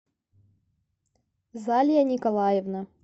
залия николаевна